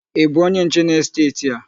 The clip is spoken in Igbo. Ị bụ onye nche n'esteeti a?